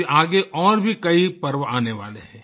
अभी आगे और भी कई पर्व आने वाले हैं